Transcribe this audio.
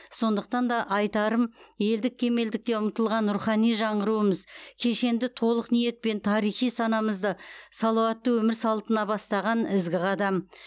сондықтан да айтарым елдік кемелдікке ұмтылған рухани жаңғыруымыз кешенді толық ниетпен тарихи санамызды салауатты өмір салтына бастаған ізгі қадам